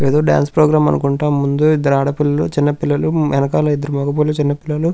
ఎదో dance programme అనుకుంట. ముందు ఇద్దరు ఆడపిల్లలు చిన్న పిల్లలు ఎనకాల ఇద్దరు మగ పిల్లలు చిన్న పిల్లలు--